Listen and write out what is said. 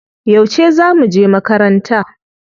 Yauce za muje makaranta?